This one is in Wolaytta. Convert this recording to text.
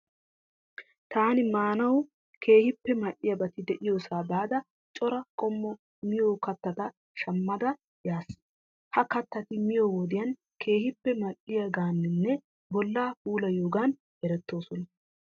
Taani maanawu keehippe mal'iyabati de'iyosaa baada cora qommo miyo kattata shammada yaas. Ha kattati miyoo wodiyan keehippe mal'iyogaaninne bollaa puullayiyoogan erettoosona.